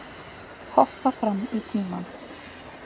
Hoppa fram í tímann